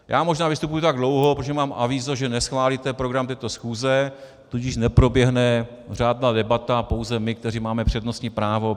Já možná vystupuji tak dlouho, protože mám avízo, že neschválíte program této schůze, tudíž neproběhne řádná debata, pouze my, kteří máme přednostní právo.